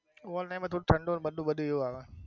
over time માં થોડું ઠંડુ મંડુ બધુંય હોય